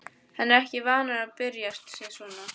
Hann er ekki vanur að byrsta sig svona.